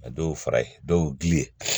A dɔw fara ye dɔw gili